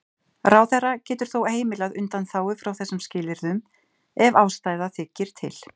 Ráðherra getur þó heimilað undanþágu frá þessum skilyrðum ef ástæða þykir til.